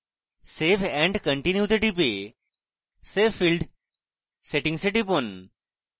save and continue তে টিপে save field settings এ টিপুন